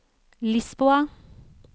Lisboa